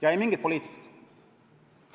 Ja ei mingit poliitikat.